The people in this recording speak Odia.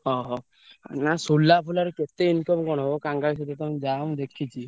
ଓହୋ ନା ସୁଲା ଫୁଲା ରେ କେତେ income କଣ ହବ ଯାଅ ମୁଁ ଦେଖିଚି।